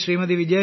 ഇന്ന് ശ്രീമതി